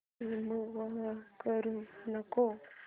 remove करू नको